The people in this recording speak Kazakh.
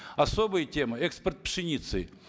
особая тема экспорт пшеницы